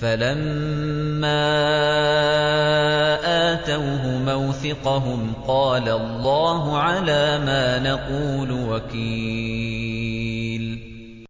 فَلَمَّا آتَوْهُ مَوْثِقَهُمْ قَالَ اللَّهُ عَلَىٰ مَا نَقُولُ وَكِيلٌ